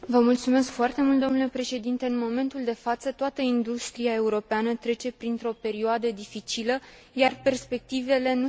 În momentul de față, toată industria europeană trece printr o perioadă dificilă, iar perspectivele nu sunt deloc încurajatoare.